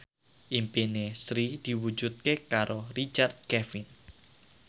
impine Sri diwujudke karo Richard Kevin